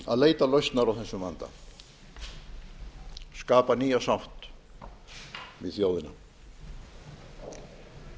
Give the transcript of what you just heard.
að leita lausnar á þessum vanda skapa nýja sátt við þjóðina